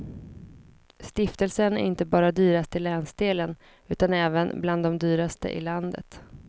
Stiftelsen är inte bara dyrast i länsdelen utan även bland de dyraste i landet.